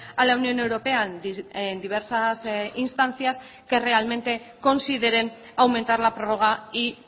a la unión europea diversas instancias que realmente consideren aumentar la prórroga y